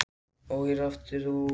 Og hér ert þú aftur.